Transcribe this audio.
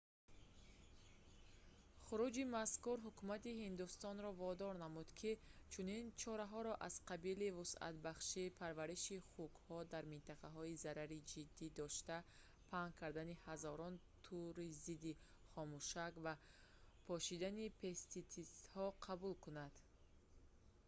хуруҷи мазкур ҳукумати ҳиндустонро водор намуд ки чунин чораҳоро аз қабили вусъатбахшии парвариши хукҳо дар минтақаҳои зарари ҷиддӣ дошта паҳн кардани ҳазорон тӯри зидди хомӯшак ва пошидани пеститсидҳо қабул кунад